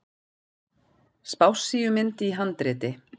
Spássíumynd í handriti.